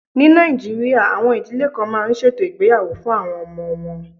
Ní Nàìjíríà, àwọn ìdílé kan máa ń ṣètò ìgbéyàwó fún àwọn ọmọ wọn.